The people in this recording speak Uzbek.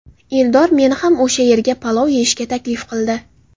Eldor meni ham o‘sha yerga palov yeyishga taklif qildi.